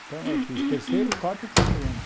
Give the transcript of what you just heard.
Então eu fiz terceiro, quarto e quinto ano.